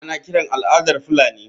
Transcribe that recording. Ana kiran al’adar Fulani.